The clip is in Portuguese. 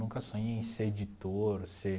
Nunca sonhei em ser editor, ser...